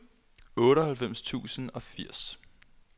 otteoghalvfems tusind og firs